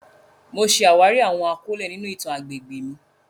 Mo ṣe awari awọn akọle ninu itan agbegbe mi.